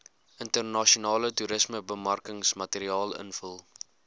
internasionale toerismebemarkingsmateriaal invul